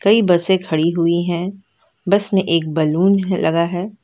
कोई बसें खड़ी हुई है बस में एक बैलून ह लगा है।